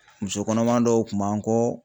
Muso kɔnɔma dɔw kun b'an kɔɔ